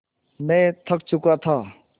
मैं थक चुका था